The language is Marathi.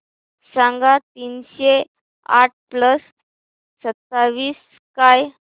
सांगा तीनशे आठ प्लस सत्तावीस काय